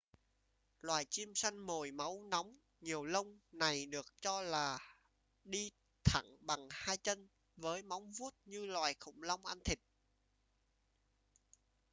loài chim săn mồi máu nóng nhiều lông này được cho là đi thẳng bằng hai chân với móng vuốt như loài khủng long ăn thịt